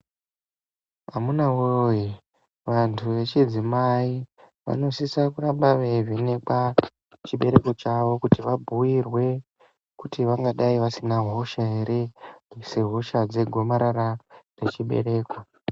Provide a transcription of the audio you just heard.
Amunawoye vantu echidzimai vanosisa kuramba vevhenekwa chibereko chavo kuti vabhuyirwe kuti vangadai vasina hosha here sehosha dzegomarara dzechibereko.